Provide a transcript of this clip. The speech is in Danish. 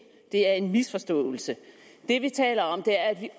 det er en misforståelse det vi taler om er at vi